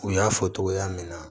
U y'a fɔ togoya min na